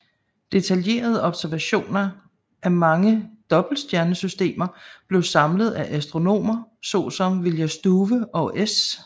Detaljerede observationer af mange dobbeltstjernesystemer blev samlet af astronomer såsom William Struve og S